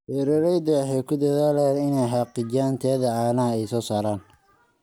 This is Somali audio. Beeraleydu waxay ku dadaalaan inay xaqiijiyaan tayada caanaha ay soo saaraan.